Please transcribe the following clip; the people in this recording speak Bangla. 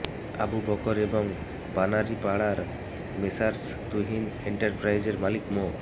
আবু বকর এবং বানারীপাড়ার মেসার্স তুহিন এন্টারপ্রাইজের মালিক মো